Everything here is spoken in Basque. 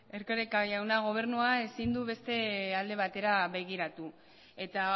erkoreka jauna gobernua ezin du beste aldera begiratu eta